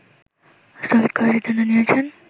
স্থগিত করার সিদ্ধান্ত নিয়েছেন